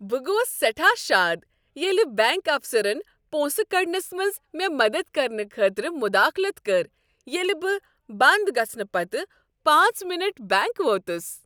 بہٕ گوس سیٹھاہ شاد ییٚلہ بینک افسرن پونسہٕ كڈنس منز مےٚ مدد کرنہٕ خٲطرٕ مداخلت کٔر ییٚلہ بہٕ بند گژھنہٕ پتہٕ پانژھ مِنٹ بینک ووتُس۔